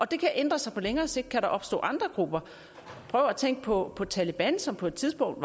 det kan ændre sig på længere sigt kan der opstå andre grupper prøv at tænke på taleban som på et tidspunkt